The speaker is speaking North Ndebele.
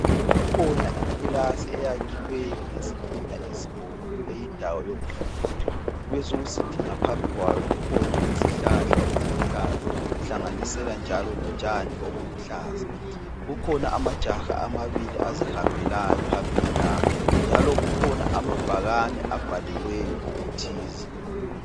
Kukhona ikilasi eyakhiweyo ngezitina ezibomvu eyindawo yokufundela. kubesokusithi ngaphambili kwayo kukhona izihlahla eziluhlaza, kuhlanganisela njalo lotshani obuluhlaza. Kukhona amajaha amabili azihambelayo phambili lapha. Njalo kukhona amabhakane abhaliweyo okuthize.